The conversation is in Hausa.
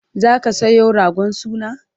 zaka Sayo ragon suna?